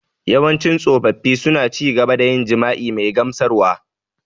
Yawancin tsofaffi suna ci gaba da yin jima’i mai gamsarwa.